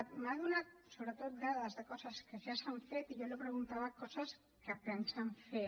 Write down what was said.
m’ha donat sobretot dades de coses que ja s’han fet i jo li preguntava coses que pensen fer